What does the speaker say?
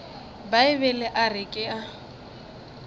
bibele a re ke a